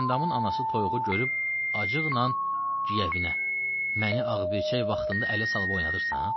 Güləndamın anası toyuğu görüb acıqla güyəvinə: "Məni ağbirçək vaxtında ələ salıb oynadırsan?"